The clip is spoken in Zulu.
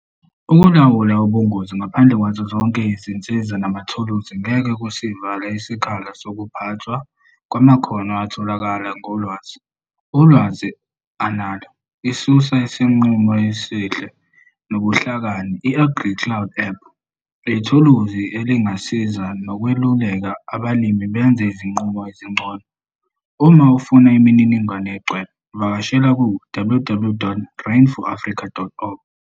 Ukulawulwa ubungozi ngaphandle kwazo zonke izinsiza namathuluzi ngeke kusivala isikhala sokuphathwa kwamakhono atholakala ngolwazi, ulwazi onalo, isisusa, nesinqumo esihle nobuhlakani I-AgriCloud app yithuluzi elingasiza nokweluleka abalimi benze izinqumo ezingcono. Uma ufuna imininingwane egcwele, vakashela ku-ww.rain4africa.org.